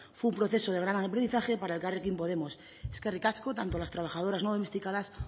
fue un proceso de gran aprendizaje para elkarrekin podemos eskerrik asko tanto a las trabajadoras no domesticadas